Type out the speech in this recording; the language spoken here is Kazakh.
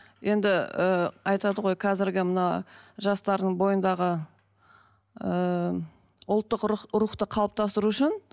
енді ыыы айтады ғой қазіргі мына жастардың бойындағы ыыы ұлттық рухты қалыптастыру үшін